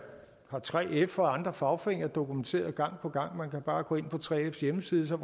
har 3f og andre fagforeninger dokumenteret gang på gang man kan bare gå ind på 3fs hjemmeside så